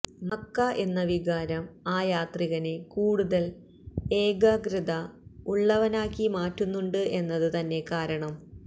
Mecca എന്ന വികാരം ആ യാത്രികനെ കൂടുതല് ഏകാഗ്രത ഉള്ളവനാക്കി മാറ്റുന്നുണ്ട് എന്നത് തന്നെ കാരണം